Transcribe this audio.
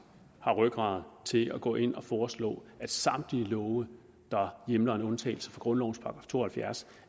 har rygrad til at gå ind og foreslå at samtlige love der hjemler en undtagelse fra grundlovens § to og halvfjerds